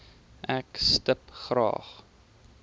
ek stip graag